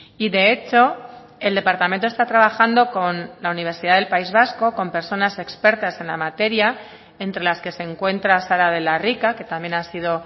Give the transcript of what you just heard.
y de hecho el departamento está trabajando con la universidad del país vasco con personas expertas en la materia entre las que se encuentra sara de la rica que también ha sido